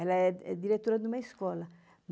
Ela é diretora de uma escola.